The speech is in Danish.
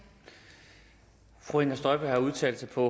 fru inger støjberg har udtalt sig på